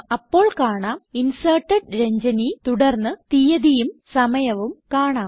അപ്പോൾ കാണാം inserted Ranjani തുടർന്ന് തീയതിയും സമയവും കാണാം